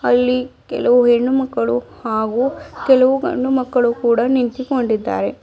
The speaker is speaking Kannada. ಕೆಲವು ಹೆಣ್ಣು ಮಕ್ಕಳು ಹಾಗೂ ಕೆಲವು ಗಂಡು ಮಕ್ಕಳು ಕೂಡ ನಿಂತುಕೊಂಡಿದ್ದಾರೆ.